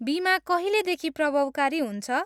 बिमा कहिलेदेखि प्रभावकारी हुन्छ?